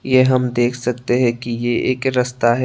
यह हम देख सकते हैं कि यह एक रास्ता है।